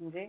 म्हणजे